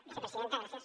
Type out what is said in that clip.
vicepresidenta gràcies